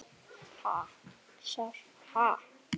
Ég saknaði þó Gumma sárt.